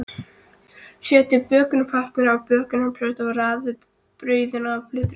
Setjið bökunarpappír á bökunarplötu og raðið brauðunum á plötuna.